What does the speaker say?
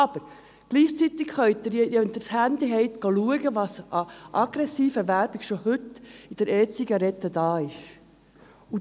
Aber gleichzeitig können Sie erkennen, welche aggressiven Werbungen für E-Zigaretten heute bereits bestehen.